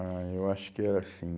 Ah, eu acho que era assim.